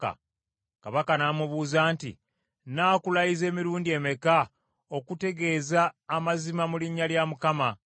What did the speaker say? Kabaka n’amubuuza nti, “Nnaakulayiza emirundi emeka okutegeeza amazima mu linnya lya Mukama ?”